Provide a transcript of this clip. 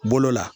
Bolo la